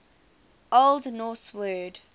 old norse word